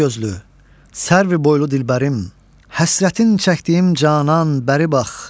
Alagözlü, sərvi boylu dilbərim, həsrətin çəkdiyim canan, bəri bax!